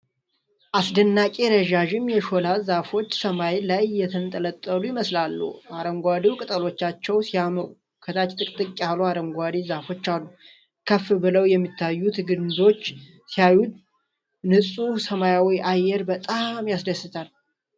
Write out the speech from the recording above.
አስደናቂ! ረዣዥም የሾላ ዛፎች ሰማይ ላይ የተንጠለጠሉ ይመስላሉ። አረንጓዴው ቅጠሎቻቸው ሲያምሩ! ከታች ጥቅጥቅ ያሉ አረንጓዴ ዛፎች አሉ። ከፍ ብለው የሚታዩት ግንዶች ሲያሳዩ! ንጹህ ሰማያዊው አየር በጣም ያስደስታል።